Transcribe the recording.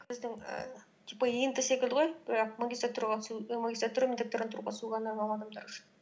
біздің ііі типа ент секілді ғой бірақ магистратура мен докторантураға түсу адамдар үшін